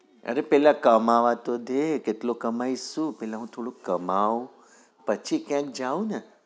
અરે પેલા કમાવા તો દે કેટલું કમા ઈશ તું પેલા હું થોડું કમાવું પછી કયાક જાઉં ને